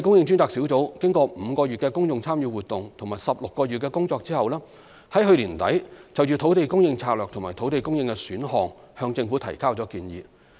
專責小組經過5個月的公眾參與活動及16個月的工作後，於去年年底就土地供應策略及土地供應選項向政府提交建議。